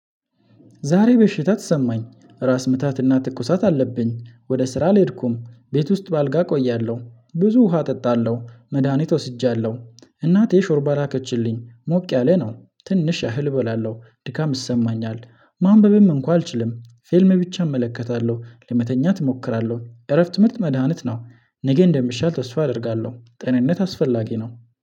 ዛሬ በሽታ ተሰማኝ። ራስ ምታትና ትኩሳት አለብኝ። ወደ ስራ አልሄድኩም። ቤት ውስጥ በአልጋ እቆያለሁ። ብዙ ውሃ እጠጣለሁ። መድሃኒት ወስጃለሁ። እናቴ ሾርባ ላከችልኝ። ሞቅ ያለ ነው። ትንሽ እህል እበላለሁ። ድካም እሰማኛለሁ። ማንበብም እንኳን አልችልም። ፊልም ብቻ እመለከታለሁ። ለመተኛት እሞክራለሁ። እረፍት ምርጥ መድሃኒት ነው። ነገ እንደሚሻል ተስፋ አደርጋለሁ። ጤንነት አስፈላጊ ነው።